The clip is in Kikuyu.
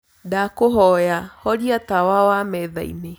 ndagũthaĩtha horĩa tawa wa methaĩnĩ